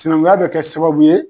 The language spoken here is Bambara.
Sinankunya be kɛ sababu ye